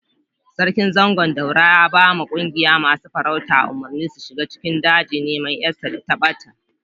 Sarkin Zangon Daura ya ba ma ƙungiyan masun farauta umurni su shiga cikin daji niman yar sa dai ta bata.